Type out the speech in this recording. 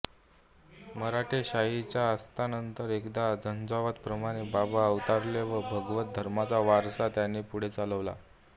मराठेशाहीच्या अस्तानंतर एखाद्या झंझावाताप्रमाणे बाबा अवतरले व भागवत धर्माचा वारसा त्यांनी पुढे चालवला